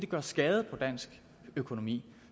gøre skade på dansk økonomi